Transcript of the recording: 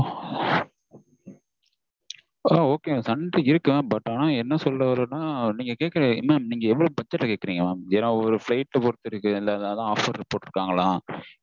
okay mam sunday இருக்கலாம் ஆனா என்ன சொல்ல வரேன்னா நீங்க கேக்குற நீங்க என்ன இவ்ளோ budget ல கேக்குறீங்க ஒரு ஒரு flight பொருத்து இருக்கு offer போட்டு இருக்காங்களா